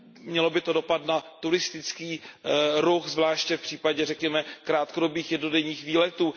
Mělo by to dopad na turistický ruch, zvláště v případě řekněme krátkodobých jednodenních výletů.